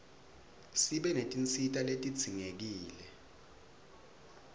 sibe netinsita letidzingekile